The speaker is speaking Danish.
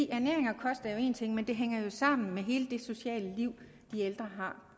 ernæring og kost er jo én ting men det hænger sammen med hele det sociale liv de ældre har